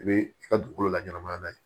I bɛ i ka dugukolo laɲɛnma n'a ye